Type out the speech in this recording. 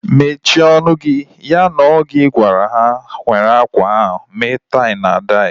Mechie ọnụ gị! Ya na ọ gị gwara ha were akwa ahụ mee tai na dai